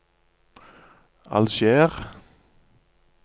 Alger